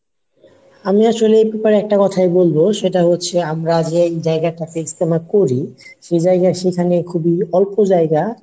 আমি আসলে তোমায় একটা কোথায় বলবো সেটা হচ্ছে আমরা যে জায়গাতে ইজতেমা টা করি সে জায়গা সেখানে খুবই অল্প জায়গা